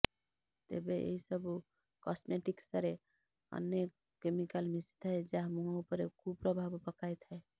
ତେବେ ଏହିସବୁ କସ୍ମେଟିକ୍ସରେ ଅନେକ କେମିକାଲ୍ ମିଶିଥାଏ ଯାହା ମୁହଁ ଉପରେ କୁପ୍ରଭାବ ପକାଇଥାଏ